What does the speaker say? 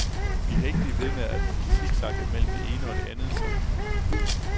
Vi kan ikke blive ved med at siksakke mellem det ene og det andet, siger han.